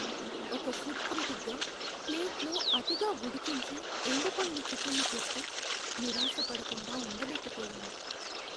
ఒక ఫుడ్ క్రిటిక్గా, ప్లేట్లో అతిగా ఉడికించి, ఎండిపోయిన చికెన్ని చూస్తే నిరాశపడకుండా ఉండలేకపోయాను.